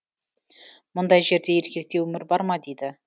мұндай жерде еркекте өмір бар ма дейді